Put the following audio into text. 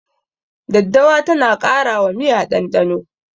Daddawa tana ƙara wa miya ɗanɗano.